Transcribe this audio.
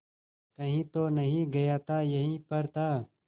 कहीं तो नहीं गया था यहीं पर था